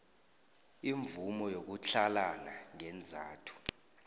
imvumo yokutlhalana ngeenzathu